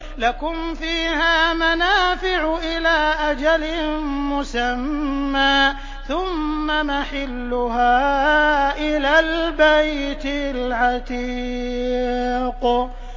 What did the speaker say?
لَكُمْ فِيهَا مَنَافِعُ إِلَىٰ أَجَلٍ مُّسَمًّى ثُمَّ مَحِلُّهَا إِلَى الْبَيْتِ الْعَتِيقِ